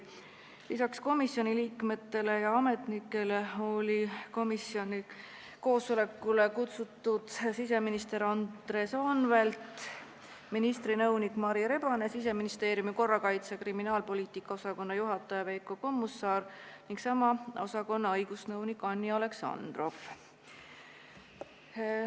Lisaks komisjoni liikmetele ja ametnikele olid komisjoni koosolekule kutsutud siseminister Andres Anvelt, ministri nõunik Mari Rebane, Siseministeeriumi korrakaitse- ja kriminaalpoliitika osakonna juhataja Veiko Kommusaar ning sama osakonna õigusnõunik Anni Aleksandrov.